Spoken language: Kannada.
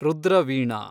ರುದ್ರ ವೀಣಾ